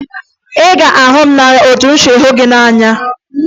Ị ga-ahụ m n'anya ka m si hụ gị n'anya!